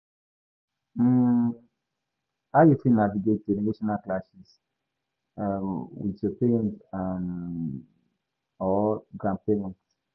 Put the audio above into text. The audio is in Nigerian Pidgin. um How you fit navigate generational clashes um with your parents um or grandparents?